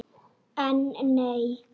En nei.